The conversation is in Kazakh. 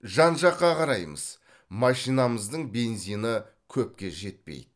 жан жаққа қараймыз машинамыздың бензині көпке жетпейді